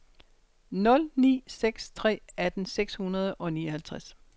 nul ni seks tre atten seks hundrede og nioghalvtreds